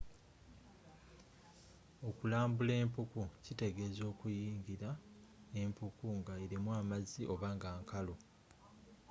okulambula empuku kyitegeeza kuyingira mpuku nga erimu amazzi oba nga nkalu